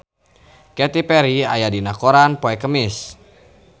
Katy Perry aya dina koran poe Kemis